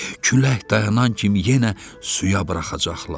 Külək dayanan kimi yenə suya buraxacaqlar.